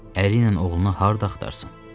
Əri ilə oğlunu harda axtarsın?